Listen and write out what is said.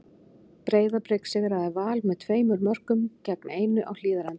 Breiðablik sigraði Val með tveimur mörkum gegn einu á Hlíðarenda.